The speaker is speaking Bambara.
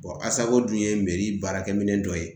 dun ye meri baarakɛminɛn dɔ ye